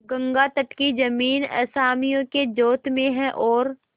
गंगातट की जमीन असामियों के जोत में है और